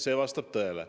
See vastab tõele.